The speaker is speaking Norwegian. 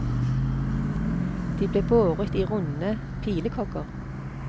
De ble båret i runde pilekogger.